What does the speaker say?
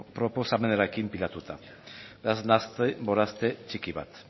proposamenarekin pilatuta nahaste borraste txiki bat